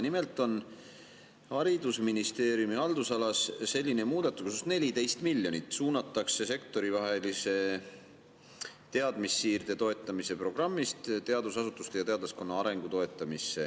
Nimelt on haridusministeeriumi haldusalas selline muudatus, et 14 miljonit suunatakse sektoritevahelise teadmussiirde toetamise programmist teadusasutuste ja teadlaskonna arengu toetamisse.